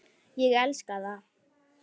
Ég elska það.